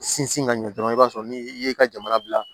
Sinsin ka ɲɛ dɔrɔn i b'a sɔrɔ ni i ye ka jamana bila